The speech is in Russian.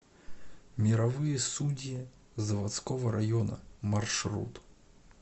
мировые судьи заводского района маршрут